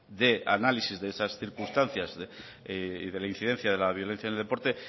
de análisis de esas circunstancias y de la incidencia de la violencia en el deporte